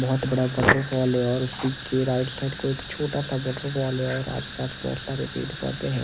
बहोत बड़ा वॉटरफॉल है और उसी के राइट साइड कोई छोटा सा वॉटरफॉल है और आस पास बहोत सारे पेड़ पौधे हैं।